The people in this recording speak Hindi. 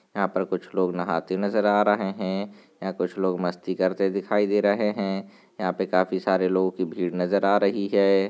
यहाँ पर कुछ लोग नहाते नजर आ रहे हैं। यहाँ कुछ लोग मस्ती करते दिखाई दे रहे हैं। यहाँ पे काफी सारे लोगों की भीड़ नजर आ रही है।